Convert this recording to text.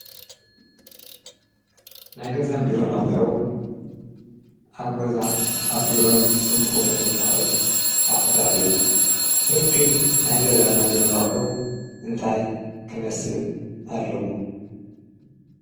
ናይ ገዛን ቢሮን ኣቁሑ ኣብ ገዛን ኣብ ቢሮን ክንጥቀመሎም እንክእል ኣቁሕታት እዮም፡፡ ርክብ ናይ ቢሮን ናይ ገዛን ኣቁሑ እንታይ ክመስል ኣለዎ?